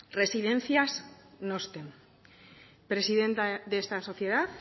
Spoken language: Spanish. residencias nostem presidenta de esta sociedad